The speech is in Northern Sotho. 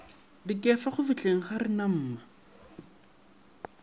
dikefa go fihleng ga renamma